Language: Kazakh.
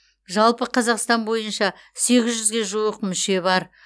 жалпы қазақстан бойынша сегіз жүзге жуық мүше бар